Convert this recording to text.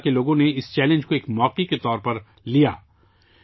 بارہمولہ کے لوگوں نے اس چیلنج کو ایک موقع کے طور پر لیا